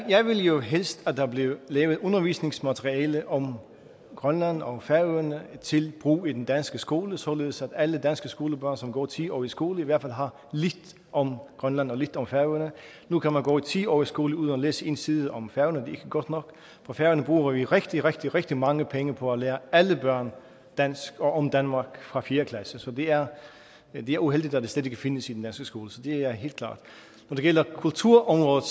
jo helst at der blev lavet undervisningsmateriale om grønland og færøerne til brug i den danske skole således at alle danske skolebørn som går ti år i skole i hvert fald har lidt om grønland og lidt om færøerne nu kan man gå ti år i skole uden at læse en side om færøerne det ikke godt nok på færøerne bruger vi rigtig rigtig rigtig mange penge på at lære alle børn dansk og om danmark fra fjerde klasse så det er er uheldigt at det slet ikke findes i den danske skole det er helt klart kulturområdet